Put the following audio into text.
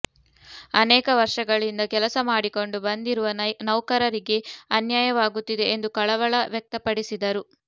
ಅನೇಕ ವರ್ಷಗಳಿಂದ ಕೆಲಸ ಮಾಡಿಕೊಂಡು ಬಂದಿರುವ ನೌಕರರಿಗೆ ಅನ್ಯಾಯವಾಗುತ್ತಿದೆ ಎಂದು ಕಳವಳ ವ್ಯಕ್ತಪಡಿಸಿದರು